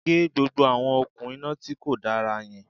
Gé gbogbo àwọn òkun iná tíkò dára yan